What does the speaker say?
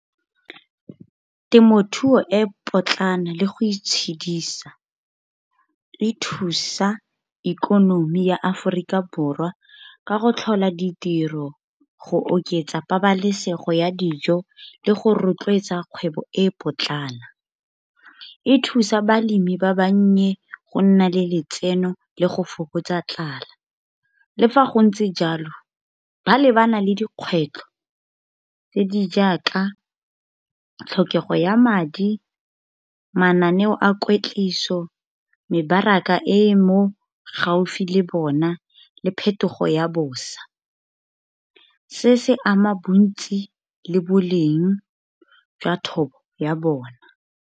Temothuo e potlana le go itshedisa. E thusa ikonomi ya Aforika Borwa ka go tlhola ditiro, go oketsa pabalesego ya dijo, le go rotloetsa kgwebo e e potlana. E thusa balemi ba bannye go nna le letseno, le go fokotsa tlala. Le fa go ntse jalo ba lebana le dikgwetlho. Tse di jaaka tlhokego ya madi, mananeo a kwetliso, mebaraka e mo gaufi le bona, le phetogo ya bosa. Se se ama bontsi le boleng jwa thobo ya bona.